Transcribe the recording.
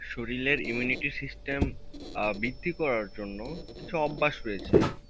শরিলের imunity system আহ বৃদ্ধি করার জন্য কিছু অভ্যাস রয়েছে